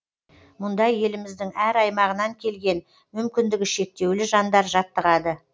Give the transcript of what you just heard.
мұнда еліміздің әр аймағынан келген мүмкіндігі шектеулі жандар жаттығады